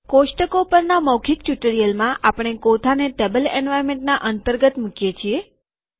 કોષ્ટકો પરના મૌખીક ટ્યુટોરીયલમાં આપણે કોઠાને ટેબલ એન્વાર્નમેન્ટના અંતર્ગત મુકીએ છીએ